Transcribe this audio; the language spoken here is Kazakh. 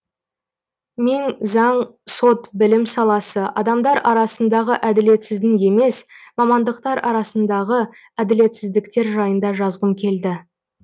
мен заң сот білім саласы адамдар арасындағы әділетсіздің емес мамандықтар арсындағы әділетсіздіктер жайында жазғым келді